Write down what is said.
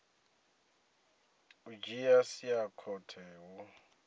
u dzhia sia khothe hu